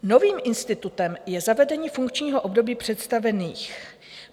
Novým institutem je zavedení funkčního období představených.